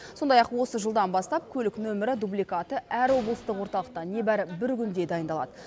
сондай ақ осы жылдан бастап көлік нөмірі дубликаты әр облыстық орталықта небәрі бір күнде дайындалады